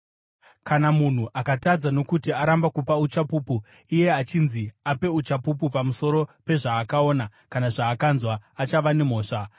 “ ‘Kana munhu akatadza nokuti aramba kupa uchapupu iye achinzi ape uchapupu pamusoro pezvaakaona kana zvaakanzwa, achava nemhosva.